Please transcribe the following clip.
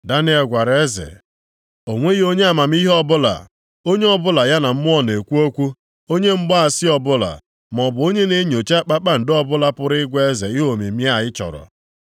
Daniel gwara eze, “O nweghị onye amamihe ọbụla, onye ọbụla ya na mmụọ na-ekwu okwu, onye mgbaasị ọbụla maọbụ onye na-enyocha kpakpando ọbụla pụrụ ịgwa eze ihe omimi a ị chọrọ.